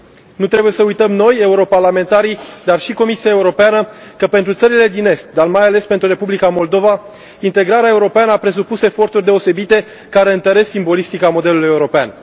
Nu trebuie să uităm noi, europarlamentarii, dar și Comisia Europeană, că pentru țările din Est, dar mai ales pentru Republica Moldova, integrarea europeană a presupus eforturi deosebite, care întăresc simbolistica modelului european.